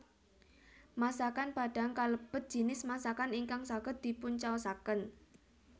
Masakan Padang kalebet jinis masakan ingkang saged dipuncaosaken